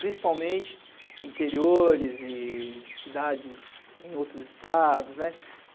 Principalmente interiores e cidades em outros estados, né?